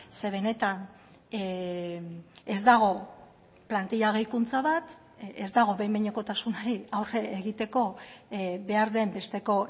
ze benetan ez dago plantila gehikuntza bat ez dago behin behinekotasunari aurre egiteko behar den besteko